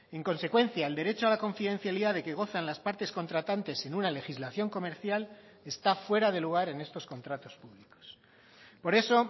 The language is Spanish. en consecuencia el derecho a la confidencialidad de que gozan las partes contratantes en una legislación comercial está fuera de lugar en estos contratos públicos por eso